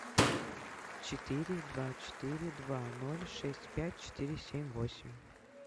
четыре два четыре два ноль шесть пять четыре семь восемь